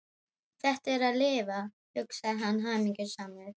Þetta er að lifa, hugsaði hann hamingjusamur.